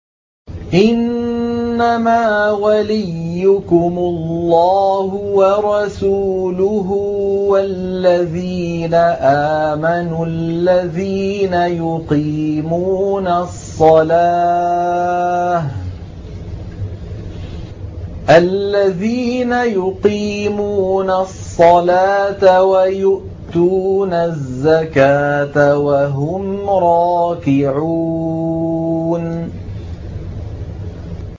إِنَّمَا وَلِيُّكُمُ اللَّهُ وَرَسُولُهُ وَالَّذِينَ آمَنُوا الَّذِينَ يُقِيمُونَ الصَّلَاةَ وَيُؤْتُونَ الزَّكَاةَ وَهُمْ رَاكِعُونَ